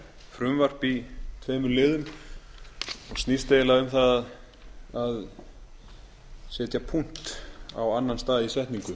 frumvarp í tveimur liðum og snýst eiginlega um það að setja punkt á annan stað í setningu